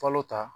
Falo ta